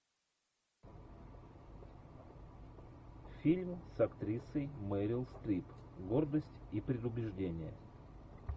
фильм с актрисой мерил стрип гордость и предубеждение